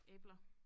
Æbler